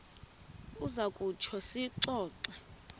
uza kutsho siyixoxe